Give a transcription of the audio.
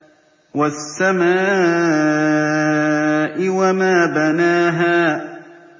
وَالسَّمَاءِ وَمَا بَنَاهَا